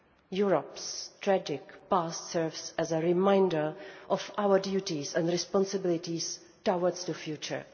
Europe's tragic past serves as a reminder of our duties and responsibilities towards the future.